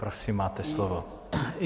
Prosím, máte slovo.